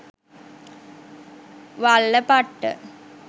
wallapatta